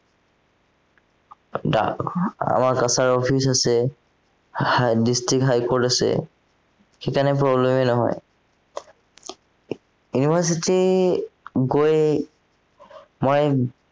ডাকঘৰ আমাৰ কাছাৰী office আছে district high court আছে, সেইকাৰণে problem এই নহয় university গৈ মই